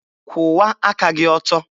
Kwụwa aka gị ọtọ!